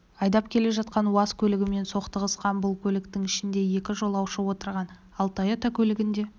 айдап келе жатқан уаз көлігімен соқтығысқан бұл көліктің ішінде екі жолаушы отырған ал тойота көлігінде